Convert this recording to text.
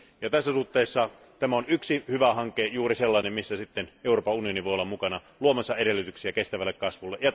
Tässä suhteessa tämä on yksi hyvä hanke, juuri sellainen, jossa sitten Euroopan unioni voi olla mukana luomassa edellytyksiä kestävälle kasvulle.